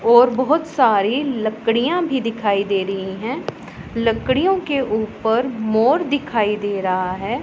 और बहोत सारी लकड़ियाँ भी दिखाई दे रही हैं लकड़ियों के उपर मोर दिखाई दे रहा हैं।